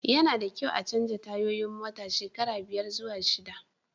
Ya na da kyau a chanja tayoyin mota shekara biyar zuwa shida